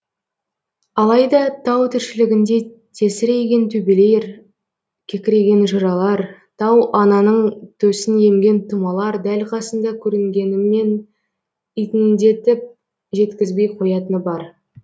алайда тау тіршілігінде тесірейген төбелер кекірейген жыралар тау ананың төсін емген тұмалар дәл қасыңда көрінгенімен итіңдетіп жеткізбей қоятыны бар